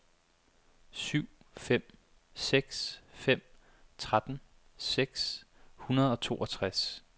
syv fem seks fem tretten seks hundrede og toogtres